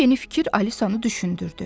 Bu yeni fikir Alisanı düşündürdü.